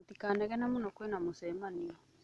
Mũtikanegene mũno kwĩna mũcemanio.